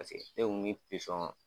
Paseke ne kun mi pisɔn